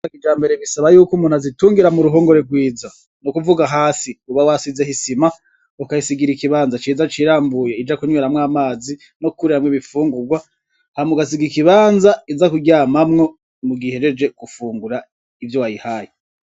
Inka za kijambere bisaba yuko umuntu azitungira mu ruhongore rwiza. Ni ukuvuga hasi uba wasizeho isima, ukayisigira ikibanza ciza c'iramvuye ija kunweramwo amazi no kuriramwo ibifungurwa, hama ugasiga ikibanza iza kuryamamwo mugihe ihejeje gufungura ivyo wayihaye.